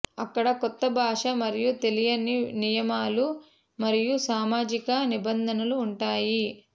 అక్కడ కొత్త భాష మరియు తెలియని నియమాలు మరియు సామాజిక నిబంధనలు ఉంటాయి